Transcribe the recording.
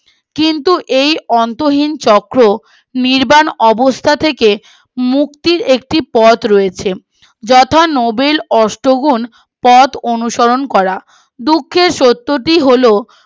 কিন্তু এই অন্তহীন চক্র নির্বাণ অবস্থা থেকে মুক্তির একটি পথ রয়েছে যথা নোবেল ওষ্ঠ গুন পথ অনুসরণ করা দুঃখের সত্যিটা হল